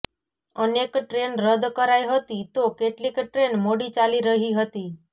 અનેક ટ્રેન રદ કરાઈ હતી તો કેટલીક ટ્રેન મોડી ચાલી રહી હતી